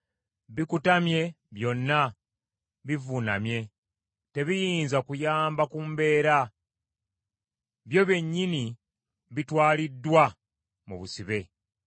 Bikutamye byonna bivuunamye. Tebiyinza kuyamba ku mbeera, byo byennyini bitwaliddwa mu busibe.